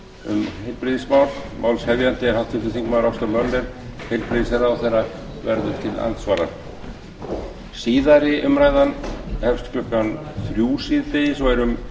um heilbrigðismál málshefjandi er háttvirtur þingmaður ásta möller heilbrigðisráðherra verður til andsvara síðari umræðan hefst klukkan þrjú síðdegis og er um